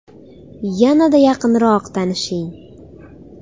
Yanada yaqinroq tanishing!